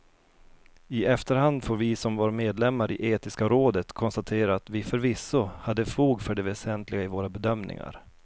I efterhand får vi som var medlemmar i etiska rådet konstatera att vi förvisso hade fog för det väsentliga i våra bedömningar.